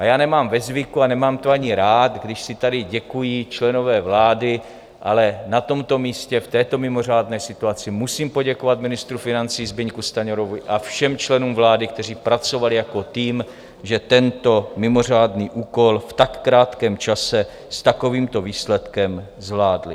A já nemám ve zvyku, a nemám to ani rád, když si tady děkují členové vlády, ale na tomto místě v této mimořádné situaci musím poděkovat ministru financí Zbyňku Stanjurovi a všem členům vlády, kteří pracovali jako tým, že tento mimořádný úkol v tak krátkém čase s takovýmto výsledkem zvládli.